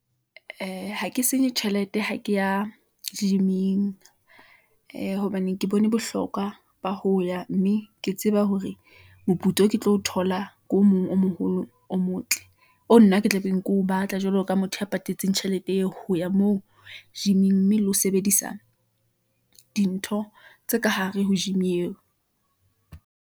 Ee, ha ke senye tjhelete, ha ke ya gym-ing , ee hobane ke bone bohlokwa ba ho ya, mme ke tseba hore moputso o ke tlo thola , ke o mong o moholo o motle , oo nna ke tla beng ke o batla, jwalo ka motho a patetseng tjhelete eo, ho ya moo gym-ing , mme le ho sebedisa dintho tse ka hare ho gym eo.